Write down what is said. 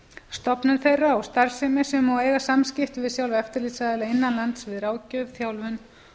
stofnun þeirra og starfsemi sem eiga starfsemi sem og eiga samskipti við sjálfa eftirlitsaðila innan lands við ráðgjöf þjálfun